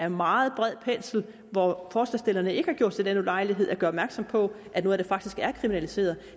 en meget bred pensel hvor forslagsstillerne ikke har gjort sig den ulejlighed at gøre opmærksom på at noget af det faktisk er kriminaliseret